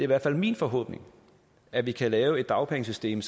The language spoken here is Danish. hvert fald min forhåbning at vi kan lave et dagpengesystem